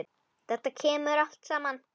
Þetta kemur allt saman.